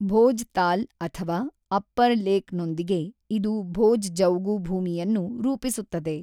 ಭೋಜ್‌ತಾಲ್ ಅಥವಾ ಅಪ್ಪರ್‌ ಲೇಕ್‌ನೊಂದಿಗೆ , ಇದು ಭೋಜ್ ಜೌಗು ಭೂಮಿಯನ್ನು ರೂಪಿಸುತ್ತದೆ.